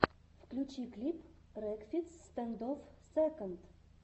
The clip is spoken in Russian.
включи клип рекфиц стэндофф сэконд